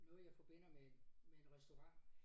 Noget jeg forbinder med en med en restaurant